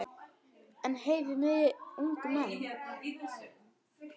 En heyrið mig ungu menn.